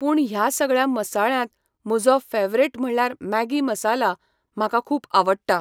पूण ह्या सगळ्या मसाळ्यांत म्हजो फॅवरेट म्हणल्यार मॅगी मसाला म्हाका खूब आवडटा.